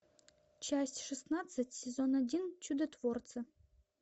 часть шестнадцать сезон один чудотворцы